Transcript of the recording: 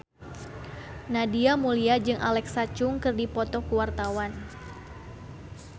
Nadia Mulya jeung Alexa Chung keur dipoto ku wartawan